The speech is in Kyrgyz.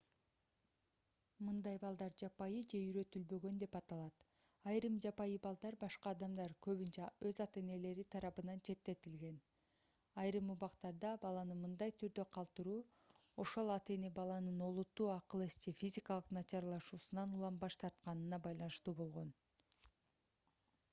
мындай балдар жапайы же үйрөтүлбөгөн деп аталат. айрым жапайы балдар башка адамдар көбүнчө өз ата-энелери тарабынан четтетилген. айрым убактарда баланы мындай түрдө калтыруу ошол ата-эне баланын олуттуу акыл-эс же физикалык начарлашуусунан улам баш тартканына байланыштуу болгон